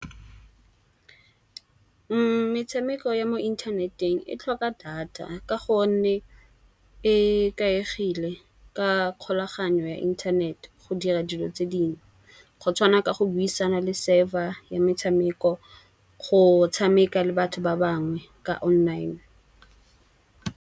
Metshameko ya mo inthaneteng e tlhoka data. Ka gonne e ikaegile ka kgolagano ya inthanete dira dilo tse dingwe. Go tshwana ka go buisana le server ya metshameko go tshameka le batho ba bangwe ka online.